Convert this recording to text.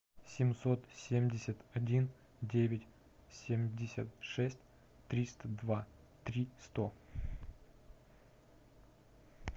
семьсот семьдесят один девять семьдесят шесть триста два три сто